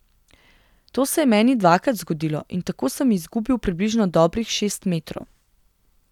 To se je meni dvakrat zgodilo in tako sem izgubil približno dobrih šest metrov.